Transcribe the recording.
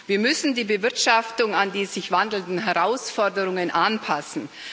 Wir müssen die Bewirtschaftung an die sich wandelnden Herausforderungen anpassen.